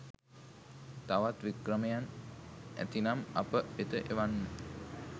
තවත් වික්‍රමයන් ඇතිනම් අප වෙත එවන්න.